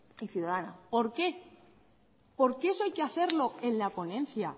y ciudadana por qué por qué eso hay que hacerlo en la ponencia